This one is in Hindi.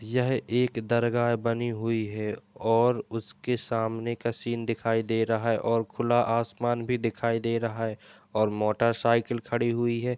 यह एक दरगाह बनी हुई है और उसके सामने का सीन दिखाई दे रहा है और खुला आसमान भी दिखाई दे रहा है और मोटरसाइकिल खड़ी हुई है।